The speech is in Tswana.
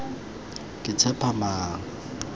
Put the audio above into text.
ketshepamang